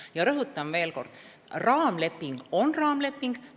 Ja rõhutan veel kord: raamleping on raamleping.